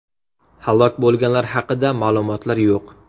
Halok bo‘lganlar haqida ma’lumotlar yo‘q.